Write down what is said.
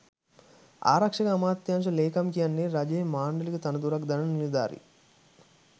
ආරක්ෂක අමාත්‍යාංශ ලේකම් කියන්නෙ රජයේ මාණ්ඩලික තනතුරක් දරන නිලධාරියෙක්.